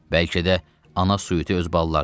Bəlkə də ana suiti öz balalarını itirib.